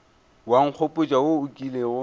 wa nkgopotša wo o kilego